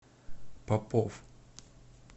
попов